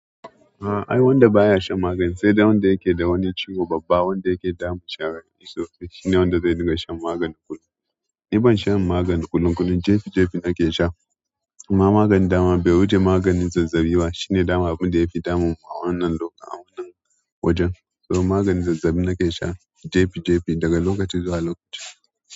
Ahh ai wanda baya shan magani sai dai wanda yake da wani ciwo babba wanda yake damun shi a rai. To sai shine wanda zai dinga shan magani kullum. Ni ban shan magani kullun kullun, jefi jefi nake sha amma maganin dama bai wuce maganin zazzaɓi ba shine daman abunda yafi damun a wannan lokacin wannan wajen. To maganin zazzaɓi nake sha jefi jefi daga lokaci zuwa lokaci.